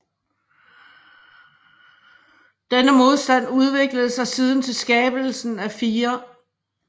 Denne modstand udviklede sig siden til skabelsen af 4